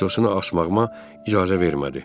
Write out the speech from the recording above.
Paltosunu asmağıma icazə vermədi.